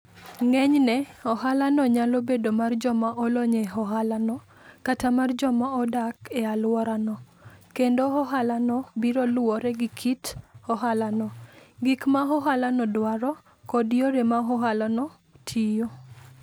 Ng'enyne, ohalano nyalo bedo mar joma olony e ohalano kata mar joma odak e alworano, kendo ohalano biro luwore gi kit ohalano, gik ma ohalano dwaro, kod yore ma ohalano tiyo.